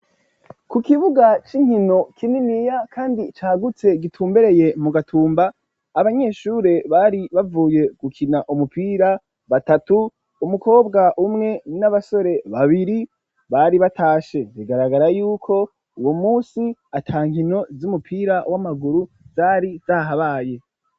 Ku kibuga c'inkino kininiya kandi cagutse gitumbereye mu gatumba ,abanyeshure bari bavuye gukina umupira batatu ,umukobwa umwe n'abasore babiri bari batashe bigaragara yuko uwo munsi ata nkino z'umupira w'amaguru zari zahabaye.